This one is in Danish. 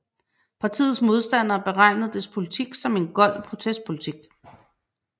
Partiets modstandere betegnede dets politik som en gold protestpolitik